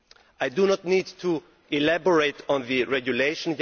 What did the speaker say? I do not need to elaborate on the regulation.